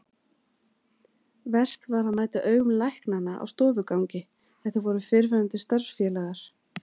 Verst var að mæta augum læknanna á stofugangi, þetta voru fyrrverandi starfsfélagar.